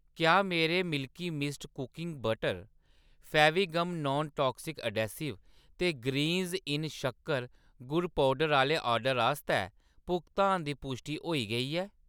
क्या मेरे milky mist cooking butter, Fevigum non toxic adhesive ते ग्रीन्ज़-इन शक्कर, गुड़ पौडर आह्‌‌‌ले ऑर्डर आस्तै भुगतान दी पुश्टि होई गेई ऐ ?